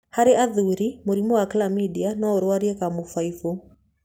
Harĩ athuri, mũrimũ wa Chlamydia no ũrwarie kamũbaibũ.